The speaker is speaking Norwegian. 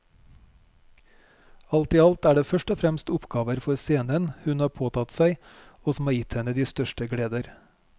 Alt i alt er det først og fremst oppgaver for scenen hun har påtatt seg og som har gitt henne de største gleder.